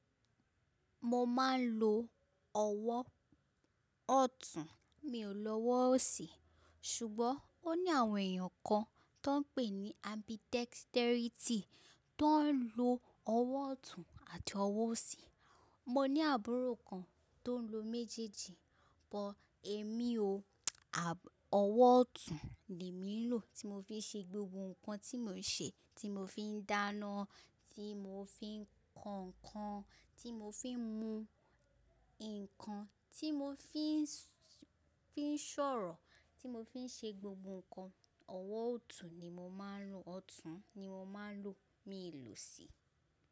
Mo máa ń lo ọwọ́ ọ̀tún, mi ò lọwọ́ ọ̀sì, ṣùgbọ́n ó ní àwọn èèyàn kan tan ń pè ní ambidexterity tó ń lo ọwọ́ ọ̀tún àti ọwọ́ ọ̀sì. Mo ní àbúrò kan tó ń lo méjéjì, but emi o. Ọwọ́ ọ̀tún ni mì lò tí mo fi ń ṣe gbogbo nǹkan tí mò ń ṣe, tí mo fi ń dáná, tí mo fi ń ko nǹkan, tí mo fi ń mú nǹkan, tí mo n fi fi ń sọ̀rọ̀, tí mo fi ń ṣe gbogbo nǹkan. Ọwọ́ ọ̀tún ni mo máa ń lò, ọ̀tún ni mo máa ń lò, mì ó lò ọ̀sì.